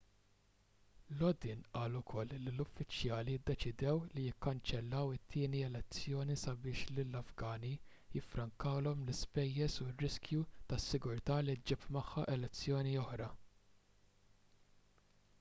lodin qal ukoll li l-uffiċjali ddeċidew li jikkanċellaw it-tieni elezzjoni sabiex lill-afgani jiffrankawlhom l-ispejjeż u r-riskju tas-sigurtà li ġġib magħha elezzjoni oħra